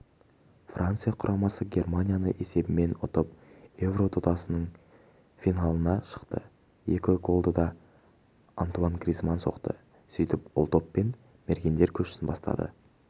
франция құрамасы германияны есебімен ұтып еуро додасының финалына шықты екі голды да антуанн гризманн соқты сөйтіп ол доппен мергендер көшін бастады